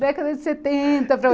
Década de setenta para